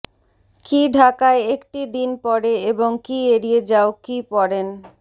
কি ঢাকায় একটি দিন পরে এবং কি এড়িয়ে যাও কি পরেন